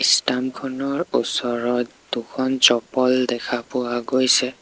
Stamp খনৰ ওচৰত দুখন চপ্পল দেখা পোৱা গৈছে।